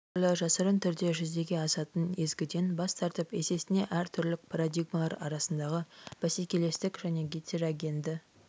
әртүрлі жасырын түрде жүзеге асатын езгіден бас тартып есесіне әр түрлілік парадигмалар арасындағы бәсекелестік және гетерогенді